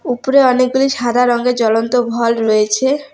উপরে অনেকগুলি সাদা রঙের জ্বলন্ত রয়েছে।